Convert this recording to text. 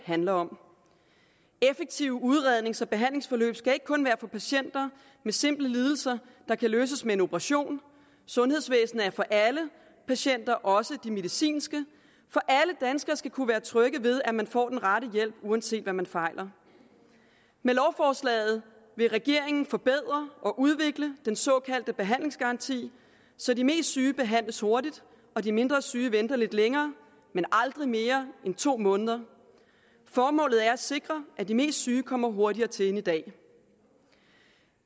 handler om effektive udrednings og behandlingsforløb skal ikke kun være for patienter med simple lidelser der kan løses med en operation sundhedsvæsenet er for alle patienter også de medicinske for alle danskere skal kunne være trygge ved at man får den rette hjælp uanset hvad man fejler med lovforslaget vil regeringen forbedre og udvikle den såkaldte behandlingsgaranti så de mest syge behandles hurtigt og de mindre syge venter lidt længere men aldrig mere end to måneder formålet er at sikre at de mest syge kommer hurtigere til end i dag